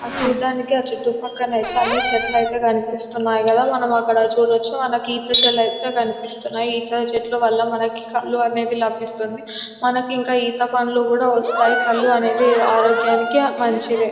ఆ చూడ్డానికి చుట్టూ పక్కన ఐతే అన్ని చెట్లయితే కనిపిస్తున్నాయి కదా మనం అక్కడ చూడొచ్చు మనకి ఈత చెట్లు ఐతే కనిపిస్తున్నాయి ఈత చెట్లు వల్ల మనకి కళ్ళు అనేది లభిస్తుంది మనకి ఇంకా ఈత పండ్లు కూడా వస్తాయి కళ్ళు అనేది ఆరోగ్యానికి మంచిదే.